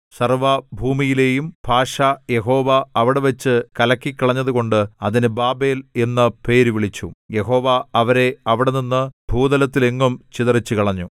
സർവ്വഭൂമിയിലെയും ഭാഷ യഹോവ അവിടെവച്ചു കലക്കിക്കളഞ്ഞതുകൊണ്ട് അതിന് ബാബേൽ എന്നു പേരുവിളിച്ചു യഹോവ അവരെ അവിടെനിന്ന് ഭൂതലത്തിൽ എങ്ങും ചിതറിച്ചുകളഞ്ഞു